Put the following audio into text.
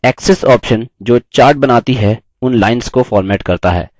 axis option जो chart बनाती हैं उन lines को फ़ॉर्मेट करता है